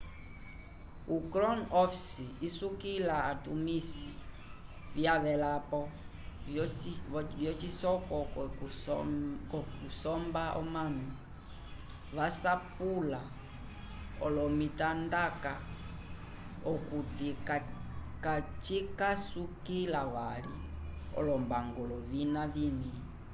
o crowm office isukila atumisi vyavelapo vyocisoko c'okusomba omanu vasapula olomitandaka okuti kacikasukila vali olombangulo vina vĩvi